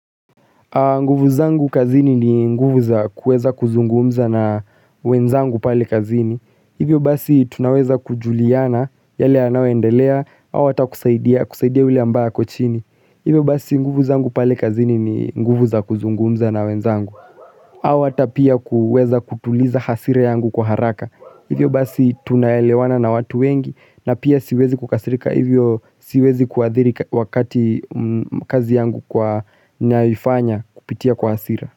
Nguvu zangu kazini ni nguvu za kweza kuzungumza na wenzangu pale kazini Hivyo basi tunaweza kujuliana yale yanawoendelea Hawa ata kusaidia kusaidia ule ambaa kwa chini Hivyo basi nguvu za nguvu za kuzungumza na wenzangu Hawa ata pia kuweza kutuliza hasira yangu kwa haraka Hivyo basi tuna elewana na watu wengi na pia siwezi kukasirika hivyo siwezi kuadhiri wakati kazi yangu kwa naifanya kupitia kwa asira.